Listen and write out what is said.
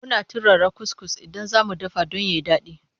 Muna turara kuskus idan za mu dafa don ya fi daɗi.